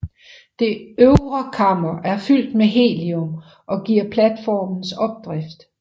Det øvre kammer er fyldt med helium og giver platformens opdrift